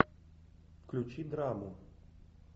включи драму